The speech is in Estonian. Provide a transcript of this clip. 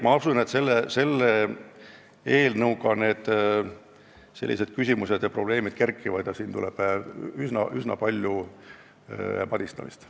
Ma usun, et selle eelnõuga seoses sellised küsimused ja probleemid kerkivad ning siin tuleb veel üsna palju paristamist.